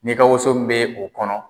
N'i ka woso min bɛ o kɔnɔ.